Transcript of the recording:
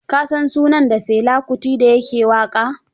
Ka san sunan dan Fela Kuti da ya ke waƙa?